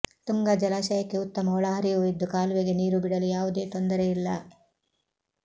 ತುಂಗಾ ಜಲಾಶಯಕ್ಕೆ ಉತ್ತಮ ಒಳಹರಿವು ಇದ್ದು ಕಾಲುವೆಗೆ ನೀರು ಬಿಡಲು ಯಾವುದೇ ತೊಂದರೆ ಇಲ್ಲ